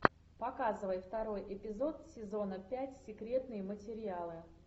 показывай второй эпизод сезона пять секретные материалы